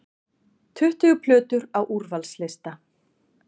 Tuttugu plötur á úrvalslista